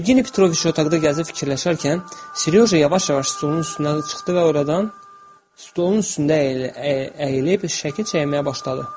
Yevgeni Petroviç otaqda gəzib fikirləşərkən, Seryoja yavaş-yavaş stolun üstünə çıxdı və oradan stolun üstündə əyilib şəkil çəkməyə başladı.